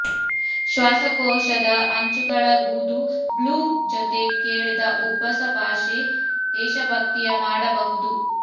ಶ್ವಾಸಕೋಶದ ಅಂಚುಗಳ ಬೂದು ಬ್ಲೂಮ್ ಜೊತೆ ಕೇಳಿದ ಉಬ್ಬಸ ಭಾಷೆ ದೇಶಭಕ್ತಿಯ ಮಾಡಬಹುದು